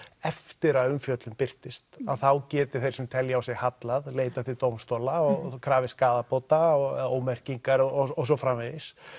eftir að umfjöllun birtist að þá geti þeir sem telja á sig hallað leitað til dómstóla og krafist skaðabóta og ómerkingar og svo framvegis